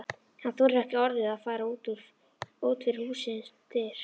Hann þorir ekki orðið að fara út fyrir hússins dyr.